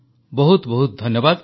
ବହୁତ ବହୁତ ଧନ୍ୟବାଦ